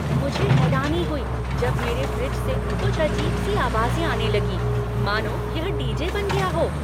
मुझे हैरानी हुई जब मेरे फ्रिज से कुछ अजीब सी आवाजें आने लगीं मानो यह डी.जे. बन गया हो!